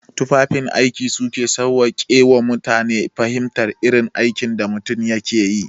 Tufafin aiki su ke sawwaƙe ma mutane fahimtar irin aikin da mutum ke yi.